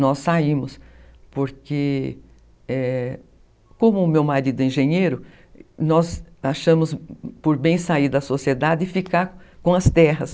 Nós saímos, porque, como o meu marido é engenheiro, nós achamos por bem sair da sociedade e ficar com as terras.